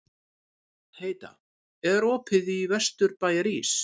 Heida, er opið í Vesturbæjarís?